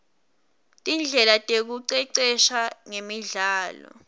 tindlela tekuicecesha ngemidlalo